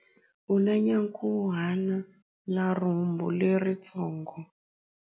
U na nyankhuhana na rhumbu leritsongo.